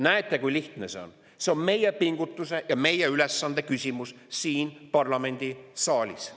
Näete, kui lihtne see on, see on meie ülesanne ja meie pingutuse küsimus siin parlamendisaalis.